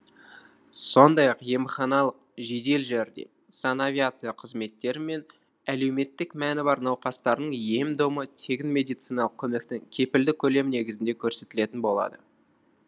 сондай ақ емханалық жедел жәрдем санавиация қызметтері мен әлеуметтік мәні бар науқастардың ем домы тегін медициналық көмектің кепілді көлемі негізінде көрсетілетін болады